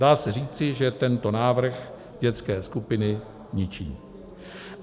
Dá se říci, že tento návrh dětské skupiny ničí.